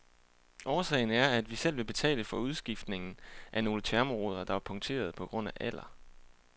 Årsagen er, at vi selv vil betale for udskiftningen af nogle thermoruder, der var punkterede på grund af alder.